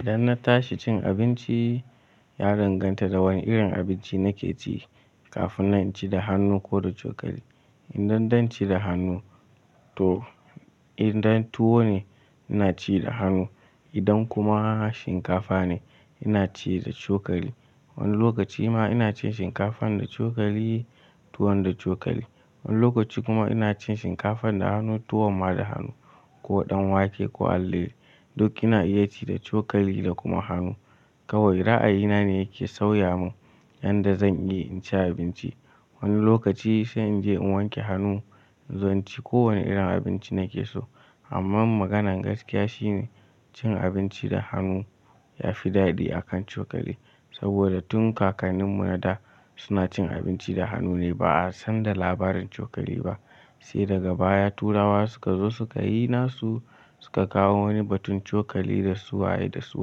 Idan na tashi cin abinci, ya danganta da wani irin abinci na ke ci kafin nan inci da hannu ko da cokali. Idan dan ci da hannu to idan tuwo ne, ina ci da hannu. Idan kuma shinkafa ne, ina ci da cokali. Wani lokaci ma ina cin shinkafan da cokali, tuwon da cokali. Wani lokaci kuma ina cin shinkafan da hannu, tuwon ma da hannu ko dan wake ko allelei. Duk ina iya ci da cokali da kuma hannu. Kawai ra'ayina ne yake sauya min yanda zan iya in ci abinci. Wani lokaci sai in je in wanke hannu in zo in ci kowane irin abinci na ke so. Amma maganan gaskiya shine cin abinci da hannu ya fi daɗi akan cokali. Saboda tun kakanninmu na da suna cin abinci da hannu ne ba a san da labarin cokali ba. Sai daga baya turawa suka zo suka yi nasu suka kawo wani batun cokali da su waye da su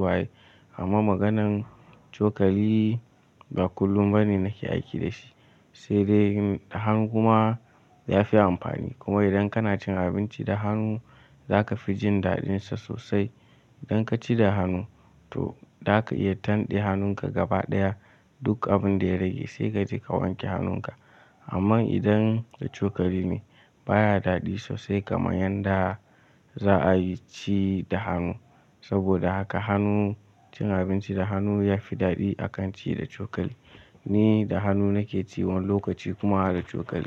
waye. Amma maganan cokali ba kullum ba ne na ke aiki da shi. Sai dai da han guma ya fi amfani. Kuma idan kana cin abinci da hannu za ka fi jin daɗinsa sosai. Idan ka ci da hannu to za ka iya tanɗe hannunka gabaɗaya duk abun da ya rage sai kaje ka wanke hannunka. Amma idan da cokali ne baya daɗi sosai kamar yanda za'a yi ci da hannu. Saboda haka hannu cin abinci da hannu ya fi daɗi akan ci da cokali. Ni da hannu na ke ci wani lokaci kuma da cokali.